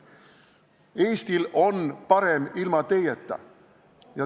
Eestil on parem ilma teieta.